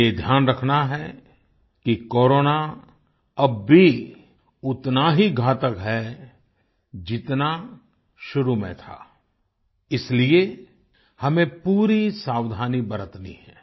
हमें यह ध्यान रखना है कि कोरोना अब भी उतना ही घातक है जितना शुरू में था इसीलिए हमें पूरी सावधानी बरतनी है